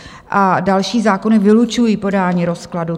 A další zákony vylučují podání rozkladu.